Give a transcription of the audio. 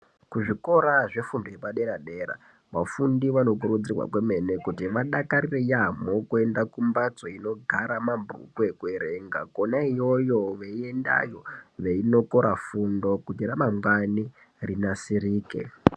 Kuzvikora zvefundo yepadera-dera, vafundi vanokurudzirwa kwemene kuti vadakarire yaambo kuenda kumbatso inogara mabhuku ekuverenga. Kona iyoyo veiendayo veinokora fundo kuti ramangwani rinasirike.